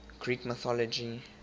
greek mythology